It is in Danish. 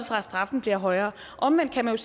fra at straffen bliver højere omvendt kan man